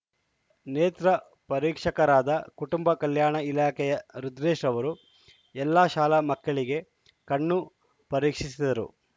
ನೇತ್ರ ಪರೀಕ್ಷಕರಾದ ಕುಟುಂಬ ಕಲ್ಯಾಣ ಇಲಾಖೆಯ ರುದ್ರೇಶ್‌ರವರು ಎಲ್ಲಾ ಶಾಲಾ ಮಕ್ಕಳಿಗೆ ಕಣ್ಣು ಪರೀಕ್ಷಿಸಿದರು